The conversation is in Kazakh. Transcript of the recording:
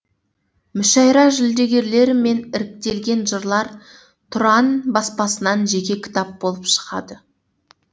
мүшәйра жүлдегерлері мен іріктелген жырлар тұран баспасынан жеке кітап болып шығады